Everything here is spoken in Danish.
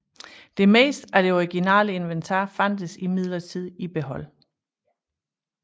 Det meste af det originale inventar fandtes imidlertid i behold